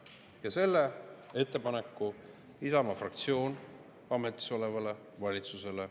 Ja selle ettepaneku Isamaa fraktsioon ametis olevale valitsusele teeb.